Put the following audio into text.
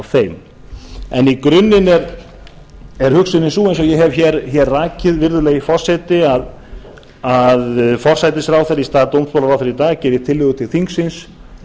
þeim í grunninn er hugsunin sú eins og ég hef rakið virðulegi forseti að forsætisráðherra í stað dómsmálaráðherra í dag gerir tillögu til þingsins